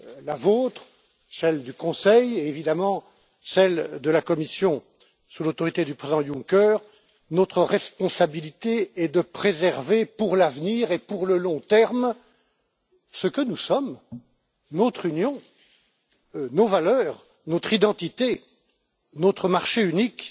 la vôtre, celle du Conseil et, évidemment, celle de la Commission sous l'autorité du président Juncker, notre responsabilité est de préserver, pour l'avenir et pour le long terme, ce que nous sommes, notre Union, nos valeurs, notre identité, notre marché unique,